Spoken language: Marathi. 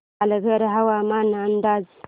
पालघर हवामान अंदाज